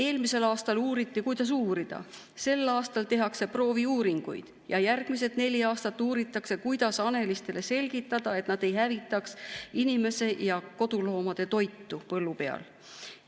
Eelmisel aastal uuriti, kuidas uurida, sel aastal tehakse prooviuuringuid, ja järgmised neli aastat uuritakse, kuidas hanelistele selgitada, et nad ei hävitaks inimese ja koduloomade toitu põllu peal.